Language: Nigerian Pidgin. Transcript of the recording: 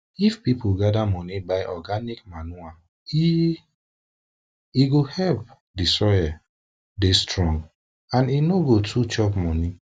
if people gather money buy organic manure eeh e go help di soil dey strong and e no go too chop money